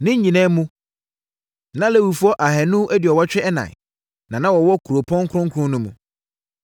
Ne nyinaa mu, na Lewifoɔ ahanu aduɔwɔtwe ɛnan (284) na na wɔwɔ kuropɔn kronkron no mu.